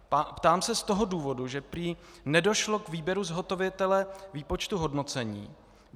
Ptám se z toho důvodu, že prý nedošlo k výběru zhotovitele výpočtu hodnocení.